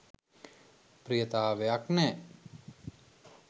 ප්‍රියතාවයක් නෑ.